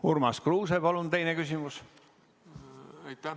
Urmas Kruuse, palun teine küsimus!